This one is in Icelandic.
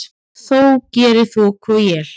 þó geri þoku og él.